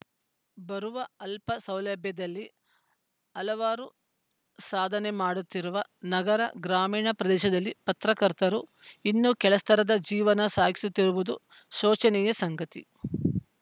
ಬರುವ ಅಲ್ಪ ಸೌಲಭ್ಯದಲ್ಲೇ ಹಲವಾರು ಸಾಧನೆ ಮಾಡುತ್ತಿರುವ ನಗರ ಗ್ರಾಮೀಣ ಪ್ರದೇಶದಲ್ಲಿ ಪತ್ರಕರ್ತರು ಇನ್ನೂ ಕೆಳಸ್ತರದ ಜೀವನ ಸಾಗಿಸುತ್ತಿರುವುದು ಶೋಚನೀಯ ಸಂಗತಿ